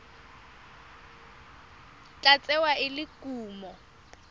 tla tsewa e le kumo